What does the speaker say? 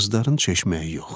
Qızların çeşməyi yox.